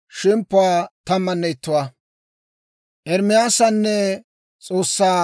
Med'inaa Godaappe Ermaasaw yeedda k'aalay hawaa;